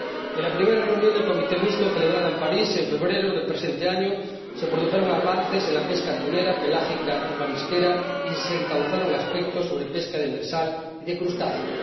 En la primera reunión del comité mixto, celebrada en París en febrero del presente año, se produjeron avances en la pesca atunera, pelágica y marisquera, y se encauzaron aspectos sobre pesca demersal y de crustáceos.